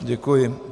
Děkuji.